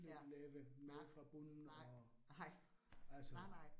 Ja, nej, nej, nej, nej nej